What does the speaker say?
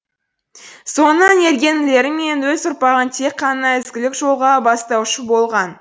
соңынан ерген інілері мен өз ұрпағын тек қана ізгілік жолға бастаушы болған